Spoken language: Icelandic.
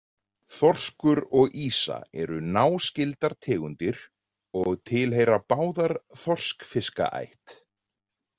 Þorskur og ýsa eru náskyldar tegundir og tilheyra báðar þorskfiskaætt.